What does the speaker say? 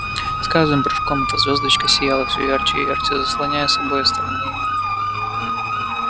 с каждым прыжком эта звёздочка сияла все ярче и ярче заслоняя собой остальные